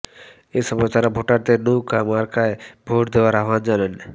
এসময় তারা ভোটারদের নৌকা মার্কায় ভোট দেওয়ার আহ্বান জানান